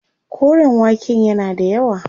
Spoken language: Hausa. Koren waken yana da yawa.